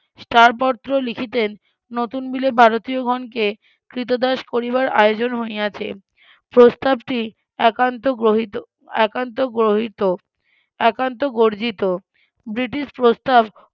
star পত্র লিখিতেন নতুন বিলে ভারতীয়গণকে কৃতদাস করিবার আয়োজন হইয়াছে প্রস্তাবটি একান্ত গ্রহিত একান্ত গ্রহিত একান্ত গর্জিত ব্রিটিশ প্রস্তাব